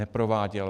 Neprováděl.